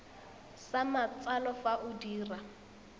sa matsalo fa o dira